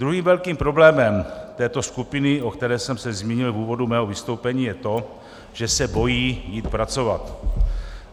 Druhým velkým problémem této skupiny, o které jsem se zmínil v úvodu svého vystoupení, je to, že se bojí jít pracovat.